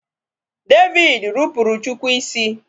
David rupuru chukwu isi.